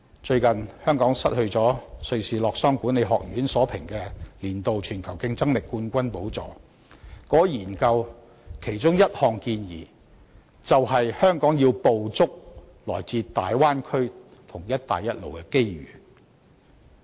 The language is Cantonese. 最近香港失去了瑞士洛桑國際管理發展學院所評，年度全球競爭力冠軍的寶座，而該項研究的其中一項建議，正是香港必須捕捉來自大灣區和"一帶一路"的機遇。